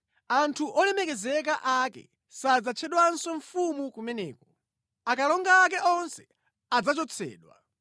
Anthu olemekezeka ake sadzatchedwanso mfumu kumeneko; akalonga ake onse adzachotsedwa.